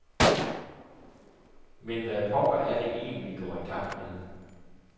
Men hvad pokker er det egentligt, vi går i gang med.